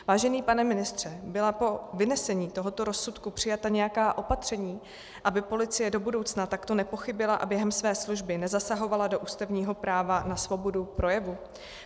Vážený pane ministře, byla po vynesení tohoto rozsudku přijata nějaká opatření, aby policie do budoucna takto nepochybila a během své služby nezasahovala do ústavního práva na svobodu projevu?